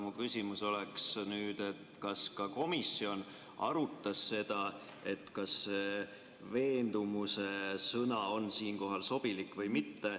Aga mu küsimus on nüüd, et kas komisjon arutas seda, kas sõna "veendumus" on siinkohal sobilik või mitte.